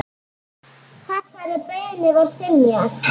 Þessari beiðni var synjað.